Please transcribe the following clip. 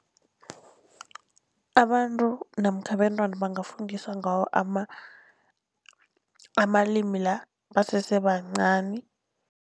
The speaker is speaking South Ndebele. Abantu namkha abentwana bangafundiswa ngawo amalimi la basese bancani.